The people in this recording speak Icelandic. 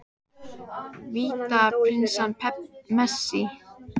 Vítaspyrna Messi?